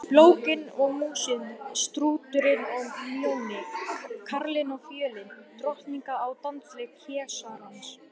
Blókin og Músin, Strúturinn og Mjóni, Karlinn og Fjölin, Drottningin á dansleik keisarans.